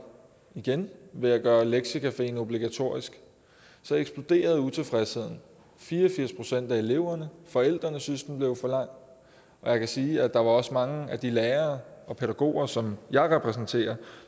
igen ved at gøre lektiecafeen obligatorisk så eksploderede utilfredsheden fire og firs procent af eleverne og forældrene syntes den var for lang og jeg kan sige at der også var mange af de lærere og pædagoger som jeg repræsenterer